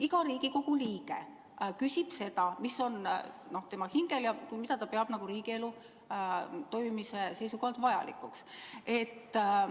Iga Riigikogu liige küsib seda, mis tal hingel on, mida ta peab riigielu toimimise seisukohalt vajalikuks.